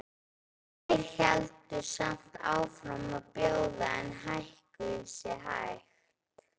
Tveir héldu samt áfram að bjóða en hækkuðu sig hægt.